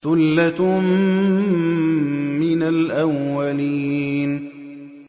ثُلَّةٌ مِّنَ الْأَوَّلِينَ